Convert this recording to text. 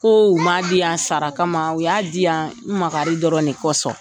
Ko u m m'a diyan sara kama u y'a diyan makari dɔrɔn de kɔsɔn.